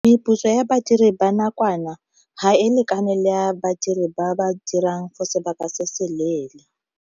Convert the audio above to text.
Meputso ya badiri ba nakwana ga e lekane le ya badiri ba ba dirang for sebaka se se leele.